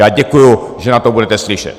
Já děkuji, že na to budete slyšet.